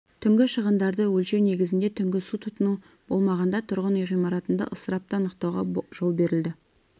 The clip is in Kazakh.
түнгі шығындарды өлшеу негізінде түнгі су тұтыну болмағанда тұрғын үй ғимаратында ысырапты анықтауға жол беріледі